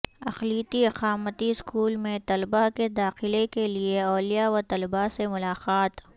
اقلیتی اقامتی اسکول میں طلبہ کے داخلے کیلئے اولیاء و طلباء سے ملاقات